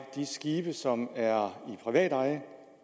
de skibe som er i privat eje